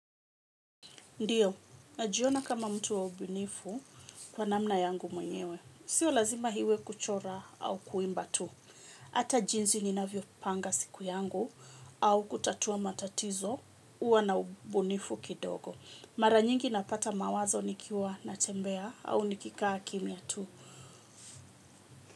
Ndiyo, najiona kama mtu wa ubunifu kwa namna yangu mwenyewe. Sio lazima iwe kuchora au kuimba tu. Hata jinsi ninavyopanga siku yangu au kutatua matatizo huwa na ubunifu kidogo. Mara nyingi napata mawazo nikiwa natembea au nikikaa kimya tu.